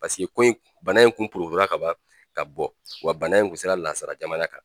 Paseke ko in bana in kun porokotola ka ban ka bɔ wa bana in kun sera nanzara jamana kan